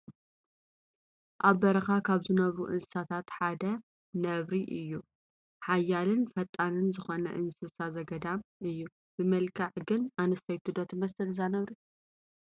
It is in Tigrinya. ኣብ በረኻ ካብ ዝገብሩ እንስሳታት ሓደ ነብሪ እዩ፡፡ ሓያልን ፈጣንን ዝኾነ እንስሳ ዘገዳም እዩ፡፡ ብመልክዓ ግን ኣነስተይቲ ዶ ትመስል እዛ ነብሪ?